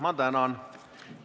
Ma tänan!